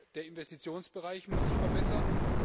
Der Investitionsbereich muss sich verbessern.